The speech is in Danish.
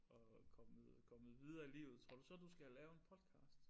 Og kommet kommet videre i livet tror du så du skal lave en podcast?